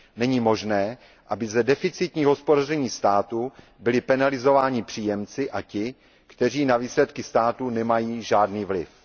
Není možné, aby za deficitní hospodaření státu byli penalizováni příjemci a ti, kteří na výsledky státu nemají žádný vliv.